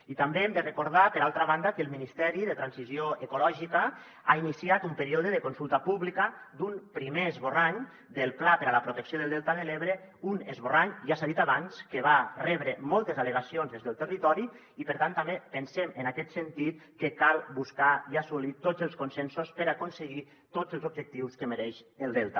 i també hem de recordar per altra banda que el ministeri de transició ecològica ha iniciat un període de consulta pública d’un primer esborrany del pla per a la protecció del delta de l’ebre un esborrany ja s’ha dit abans que va rebre moltes al·legacions des del territori i per tant també pensem en aquest sentit que cal buscar i assolir tots els consensos per aconseguir tots els objectius que mereix el delta